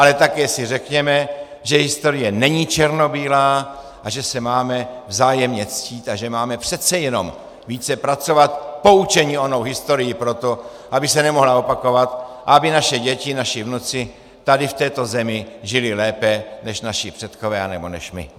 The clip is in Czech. Ale také si řekněme, že historie není černobílá a že se máme vzájemně ctít a že máme přece jenom více pracovat, poučeni onou historií, pro to, aby se nemohla opakovat a aby naše děti, naši vnuci tady v této zemi žili lépe než naši předkové anebo než my.